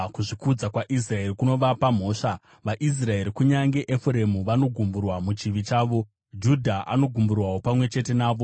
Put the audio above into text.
Kuzvikudza kwaIsraeri kunovapa mhosva; vaIsraeri, kunyange Efuremu, vanogumburwa muchivi chavo; Judha anogumburwawo pamwe chete navo.